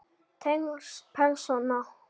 Tengsl persóna